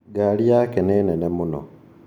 Ngari yake ni nene mũno